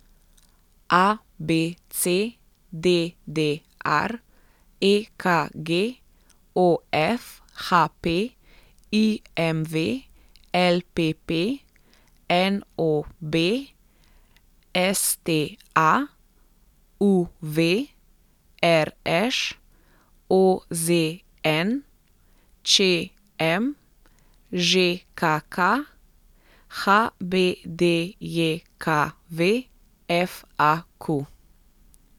A B C; D D R; E K G; O F; H P; I M V; L P P; N O B; S T A; U V; R Š; O Z N; Č M; Ž K K; H B D J K V; F A Q.